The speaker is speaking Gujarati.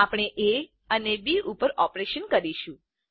આપણે એ અને બી ઉપર ઓપરેશન કરીશું